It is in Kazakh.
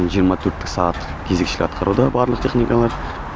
жиырма төрттік сағаттық кезекшілік атқаруда барлық техникалар